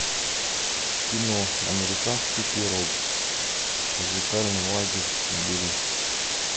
кино американский пирог музыкальный лагерь набери